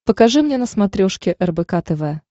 покажи мне на смотрешке рбк тв